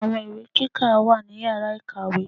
Àwọn ìwé kíkà wà ní Yàrá ìkàwé.